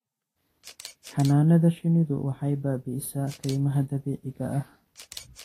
Xannaanada shinnidu waxay baabi'isaa kaymaha dabiiciga ah.